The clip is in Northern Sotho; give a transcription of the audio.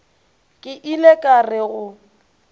ke ile ka re go